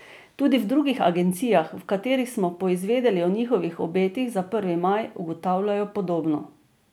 Tudi v drugih agencijah, v katerih smo poizvedeli o njihovih obetih za prvi maj, ugotavljajo podobno.